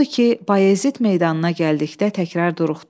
Odur ki, Bayazid meydanına gəldikdə təkrar duruxdu.